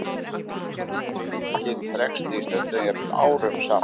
Greiningin dregst því stundum, jafnvel árum saman.